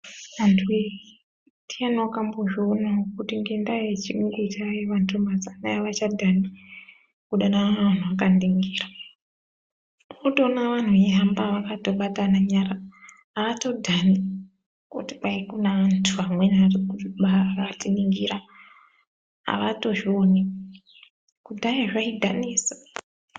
Antuwe ndiani wakambozvionawo kuti ngendaa yechiyungu chaayo vantu mazuvano avacadhani kudanana vantu vakaningira unotoona vantu veihamba vakatobatana nyara avatodhani kuti kwai kune antu amweni akatiningira avatozvioni, kudhaya zvaidhanisa.